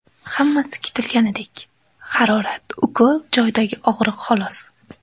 Hammasi kutilganidek – harorat, ukol joyidagi og‘riq xolos.